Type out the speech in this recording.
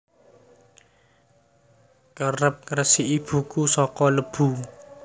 Kerep ngresiki buku saka lebu